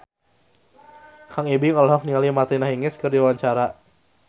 Kang Ibing olohok ningali Martina Hingis keur diwawancara